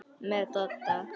Með Dodda?